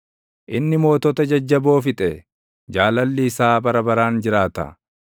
inni mootota jajjaboo fixe; Jaalalli isaa bara baraan jiraata.